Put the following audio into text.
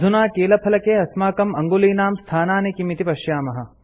अधुना कीलफलके अस्माकं अङ्गुलीनां स्थानानि किम् इति पश्यामः